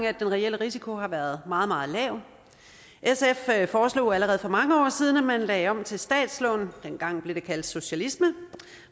at den reelle risiko har været meget meget lav sf foreslog allerede for mange år siden at man lagde om til statslån dengang blev det kaldt socialisme